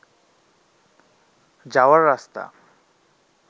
যাওয়ার রাস্তা